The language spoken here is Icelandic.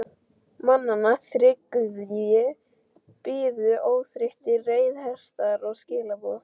Mannanna þriggja biðu óþreyttir reiðhestar og skilaboð.